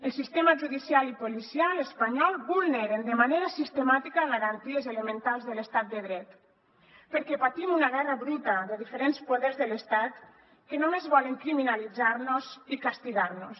els sistemes judicial i policial espanyols vulneren de manera sistemàtica garanties elementals de l’estat de dret perquè patim una guerra bruta de diferents poders de l’estat que només volen criminalitzarnos i castigarnos